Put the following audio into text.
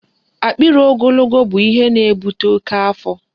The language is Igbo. Akpịrị ogologo bụ ihe na-ebute oke afọ